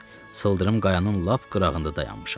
Sıldırım qayanın lap qırağında dayanmışam.